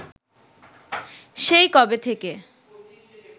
সেই কবে থেকে